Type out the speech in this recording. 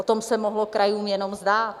O tom se mohlo krajům jenom zdát.